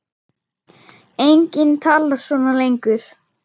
Enginn talar svona lengur.